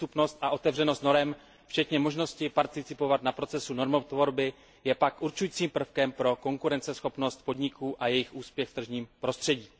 Přístupnost a otevřenost norem, včetně možnosti participovat na procesu normotvorby, je pak určujícím prvkem pro konkurenceschopnost podniků a jejich úspěch v tržním prostředí.